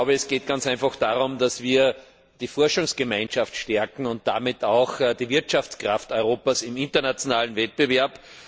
Es geht ganz einfach darum, dass wir die Forschungsgemeinschaft stärken und damit die Wirtschaftskraft Europas im internationalen Wettbewerb.